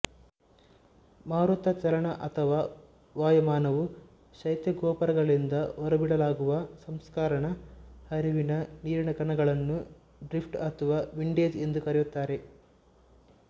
ಮಾರುತಚಲನಅಥವಾ ವಾಯುಮಾನವು ಶೈತ್ಯಗೋಪುರಗಳಿಂದ ಹೊರಬಿಡಲಾಗುವ ಸಂಸ್ಕರಣ ಹರಿವಿನ ನೀರಿನಕಣಗಳನ್ನು ಡ್ರಿಫ್ಟ್ ಅಥವಾ ವಿಂಡೇಜ್ ಎಂದು ಕರೆಯುತ್ತಾರೆ